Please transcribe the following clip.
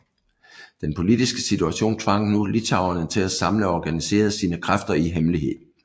Den politiske situation tvang nu litauerne til at samle og organisere sine kræfter i hemmelighed